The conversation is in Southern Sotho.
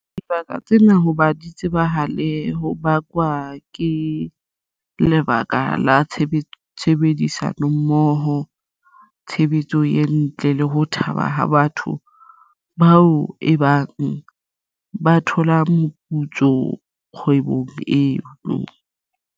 Dibaka tsena hoba di tsebahale ho bakwa ke lebaka la tshebedisano mmoho tshebetso e ntle le ho thaba ha batho bao e bang ba thola moputso kgwebong eno.